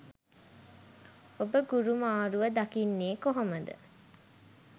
ඔබ ගුරු මාරුව දකින්නේ කොහොම ද?